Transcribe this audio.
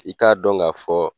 I k'a dɔn ka fɔ.